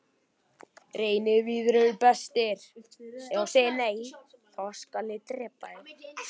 Valdimars í bland við reykjarlyktina frá slokknaða kertinu.